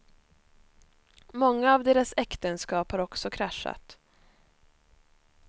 Många av deras äktenskap har också kraschat.